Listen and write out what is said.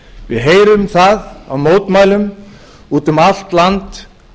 við heyrum það á mótmælum út um allt land